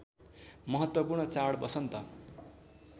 महत्त्वपूर्ण चाड वसन्त